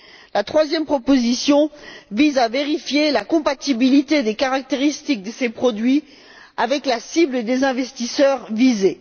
La troisième proposition vise à vérifier la compatibilité des caractéristiques de ces produits avec la cible des investisseurs visés.